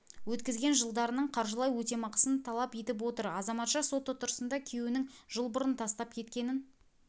өткізген жылдарының қаржылай өтемақысын талап етіп отыр азаматша сот отырысына күйеуінің жыл бұрын тастап кеткенін